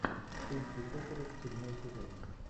тульский токарев седьмой сезон